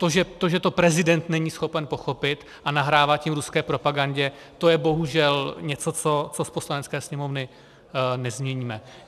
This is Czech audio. To, že to prezident není schopen pochopit a nahrává tím ruské propagandě, to je bohužel něco, co z Poslanecké sněmovny nezměníme.